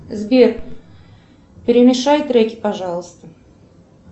сбер перемешай треки пожалуйста